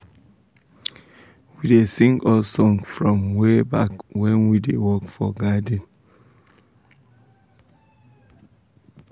we da sing old song from wayback when we da work for garden